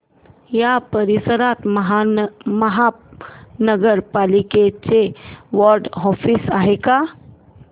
या परिसरात महानगर पालिकेचं वॉर्ड ऑफिस आहे का